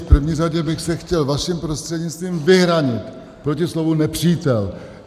V první řadě bych se chtěl vaším prostřednictvím vyhranit proti slovu "nepřítel".